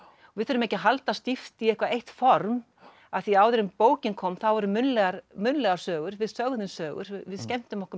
við þurfum ekki að halda stíft í eitthvað eitt form af því áður en bókin kom þá voru munnlegar munnlegar sögur við sögðum sögur við skemmtum okkur með